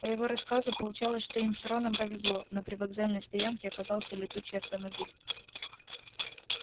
по его рассказу получалось что им с роном повезло на привокзальной стоянке оказался летучий автомобиль